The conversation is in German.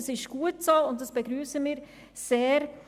Das ist gut so, und wir begrüssen es sehr.